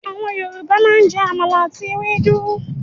Àwọn Yorùbá máa ń jẹ àmàlà àti ewédú.